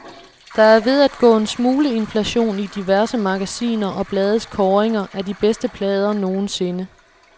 Der er ved at gå en smule inflation i diverse magasiner og blades kåringer af de bedste plader nogensinde.